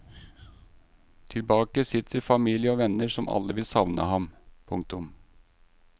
Tilbake sitter familie og venner som alle vil savne ham. punktum